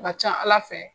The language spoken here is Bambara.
Ka ca ala fɛ